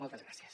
moltes gràcies